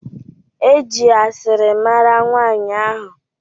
E ji asịrị mara nwanyị ahụ